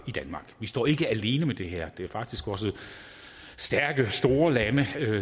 i danmark vi står ikke alene med det her det er faktisk også stærke store lande